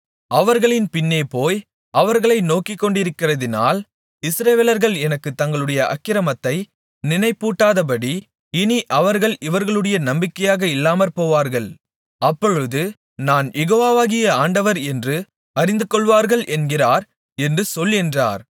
அவர்களின் பின்னேபோய் அவர்களை நோக்கிக்கொண்டிருக்கிறதினால் இஸ்ரவேலர்கள் எனக்குத் தங்களுடைய அக்கிரமத்தை நினைப்பூட்டாதபடி இனி அவர்கள் இவர்களுடைய நம்பிக்கையாக இல்லாமற்போவார்கள் அப்பொழுது நான் யெகோவாகிய ஆண்டவர் என்று அறிந்துகொள்வார்கள் என்கிறார் என்று சொல் என்றார்